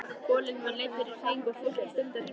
Folinn var leiddur í hring og fólkið stundi af hrifningu.